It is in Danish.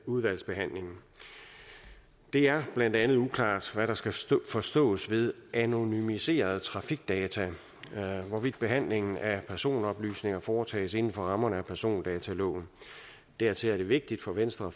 udvalgsbehandlingen det er blandt andet uklart hvad der skal forstås ved anonymiserede trafikdata og hvorvidt behandlingen af personoplysninger foretages inden for rammerne af persondataloven dertil er det vigtigt for venstre at